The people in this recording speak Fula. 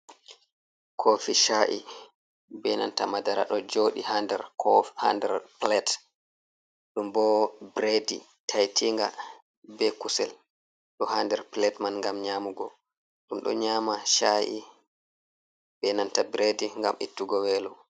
Kofi sha’i be nanta madara ɗo jooɗi i ha. nder ko ha. nder pilet dum bo biredi taitinga be kusel ɗo ha. nder pilet man, gam nyamugo ɗum ɗo nyama sha’i be nanta biredi gam ittugo welo.